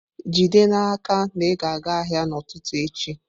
Jide n'aka na ị ga-aga ahịa n'ụtụtụ echi!